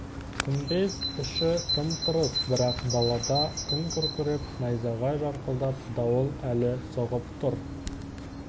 күмбез іші тым-тырыс бірақ далада күн күркіреп найзағай жарқылдап дауыл әлі соғып тұр